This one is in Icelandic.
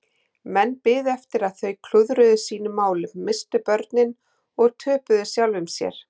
Menn biðu eftir að þau klúðruðu sínum málum, misstu börnin og töpuðu sjálfum sér.